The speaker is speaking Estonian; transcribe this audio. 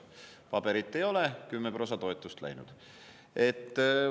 Kui paberit ei ole, siis on kümme prossa toetust läinud.